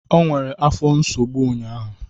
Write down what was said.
O nwere afọ nsogbu ụnyahụ.